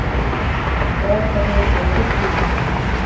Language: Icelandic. Strákarnir eru vitlausir í hana.